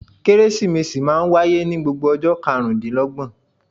Kérésìmesì máa ń wáyé ní gbogbo ọjọ́ karùn-ún dín l'ọ́gbọ̀n.